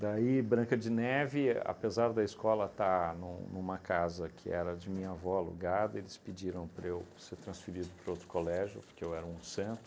Daí, Branca de Neve, apesar da escola estar num numa casa que era de minha avó alugada, eles pediram para eu ser transferido para outro colégio, porque eu era um santo.